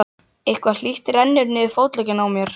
Eitthvað hlýtt rennur niður fótleggina á mér.